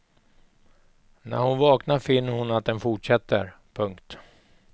När hon vaknar finner hon att den fortsätter. punkt